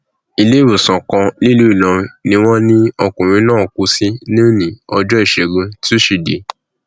iléewòsàn kan nílùú ìlọrin ni wọn lọkùnrin náà kú sí lónìí ọjọ ìṣẹgun túṣídéé